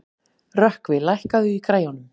Rökkvi, lækkaðu í græjunum.